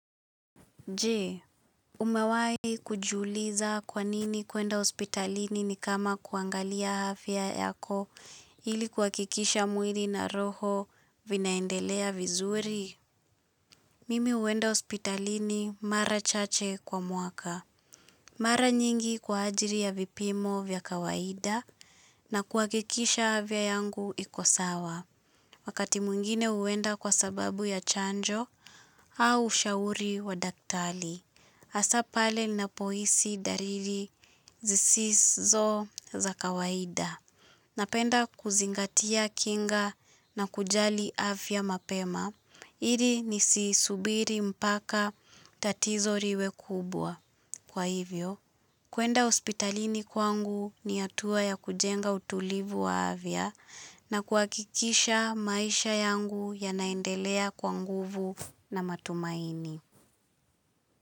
Jee, umewahi kujiuliza kwanini kuenda hospitalini ni kama kuangalia afya yako ili kuwakikisha mwiri na roho vinaendelea vizuri? Mimi huenda hospitalini mara chache kwa muaka. Mara nyingi kwa ajili ya vipimo vya kawaida na kuakikisha afya yangu iko sawa. Wakati mwingine uenda kwa sababu ya chanjo au ushauri wa daktali. Asa pale napohisi dariri zisizo za kawaida. Napenda kuzingatia kinga na kujali afya mapema. Ili nisi subiri mpaka tatizo riwe kubwa. Kwa hivyo, kuenda hospitalini kwangu ni hatua ya kujenga utulivu wa afya na kuakikisha maisha yangu yanaendelea kwa nguvu na matumaini.